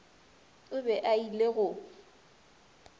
o be a ile go